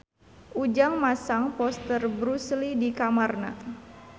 Ujang masang poster Bruce Lee di kamarna